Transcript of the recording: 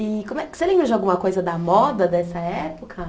E como é, você lembra de alguma coisa da moda dessa época?